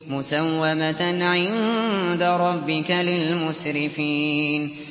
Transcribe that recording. مُّسَوَّمَةً عِندَ رَبِّكَ لِلْمُسْرِفِينَ